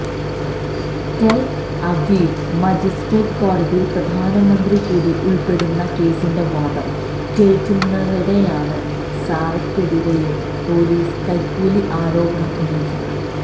ടെല് Aviv magistrate കോടതിയില് പ്രധാനമന്ത്രി കൂടി ഉള്പ്പെടുന്ന കേസിന്റെ വാദം കേള്ക്കുന്നതിനിടെയാണ് സാറയ്ക്കെതിരെയും പോലീസ് കൈക്കൂലി ആരോപണം ഉന്നയിച്ചത്